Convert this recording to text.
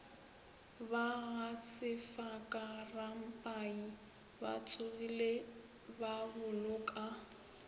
ba gasefaka rampai batsogile baboloka